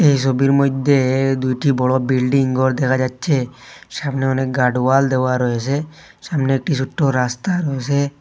এই সবির মইধ্যে দুইটি বড় বিল্ডিংঘর দেখা যাচ্ছে সামনে অনেক গার্ড ওয়াল দেওয়া রয়েসে সামনে একটি সোট্টো রাস্তা রয়েসে।